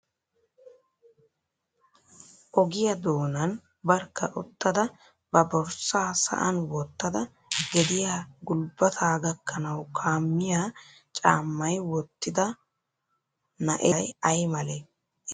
Ogiyaa doonan barkka uttada ba borssaa sa'an wottada gediya gulbbataa gakkanawu kammiya caammay wottida na'ee meray ay malee? I sunttay oonee?